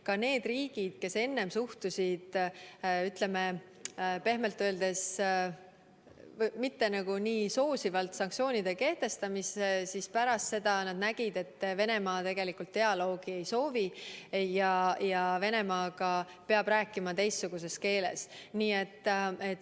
Ka need riigid, kes enne suhtusid pehmelt öeldes mitte nii soosivalt sanktsioonide kehtestamisse, nägid pärast seda, et Venemaa tegelikult dialoogi ei soovi ja Venemaaga peab rääkima teistsuguses keeles.